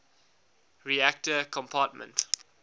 reactor compartment